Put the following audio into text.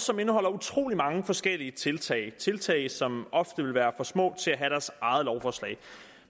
som indeholder utrolig mange forskellige tiltag tiltag som hver ofte vil være for små til at have deres eget lovforslag